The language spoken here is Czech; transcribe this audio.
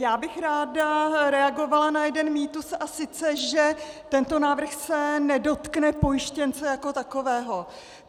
Já bych ráda reagovala na jeden mýtus, a sice že tento návrh se nedotkne pojištěnce jako takového.